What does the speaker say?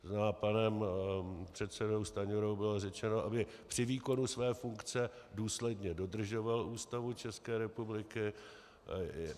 To znamená, panem předsedou Stanjurou bylo řečeno, aby při výkonu své funkce důsledně dodržoval Ústavu České republiky.